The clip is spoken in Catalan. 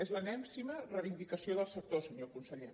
és l’enèsima reivindicació del sector senyor conseller